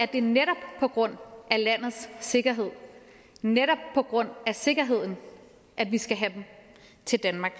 det netop på grund af landets sikkerhed netop på grund af sikkerheden at vi skal have dem til danmark